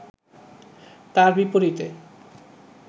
তার বিপরীতে